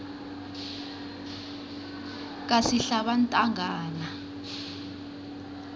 kasihlabantangana